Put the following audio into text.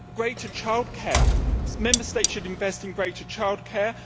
Greater child care Member States should invest in greater child care.